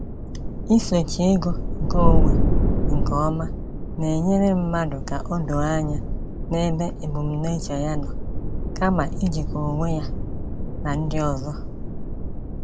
Isochi ego nke onwe nke ọma na-enyere mmadụ ka o doo anya n’ebe ebumnuche ya nọ, kama ijikọ onwe ya na ndị ọzọ.